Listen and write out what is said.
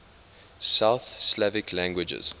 south slavic languages